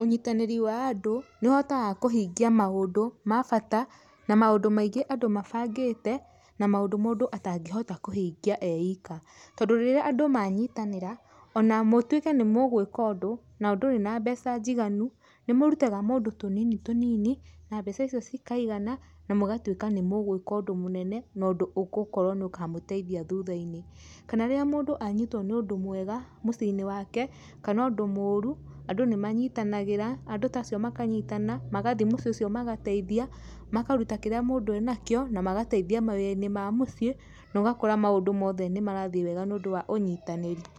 Ũnyitanĩri wa andũ nĩũhotaga kũhingia maũndũ ma bata na maũndũ maingĩ andũ mabangĩte, na maũndũ mũndũ atangĩhota kũhingia eika. Tondũ rĩrĩa andũ manyitanĩra, ona mũtuĩke nĩ mũgwĩka ũndũ, nandũrĩ na mbeca njiganu, nĩmũrutaga mũndũ tũnini tũnini, na mbeca icio cikaigana na mũgatuĩka nĩ mũgũĩka ũndũ mũnene, nondũ ũgũkorwo nĩ ũkamũteithia thutha-inĩ. Kana rĩrĩa mũndũ anyitwo nĩ ũndũ mwega mũciĩ-inĩ wake , kana ũndũ mũru, andũ nĩmanyitanagĩra, andũ tacio makanyitana, magathiĩ mũciĩ ũcio magateithia, makaruta kĩrĩa mũndũ enakĩo, na magateithia mawĩra-inĩ ma mũciĩ, na ũgakora maũndũ mothe nĩmarathiĩ wega nĩũndũ wa ũnyitanĩri.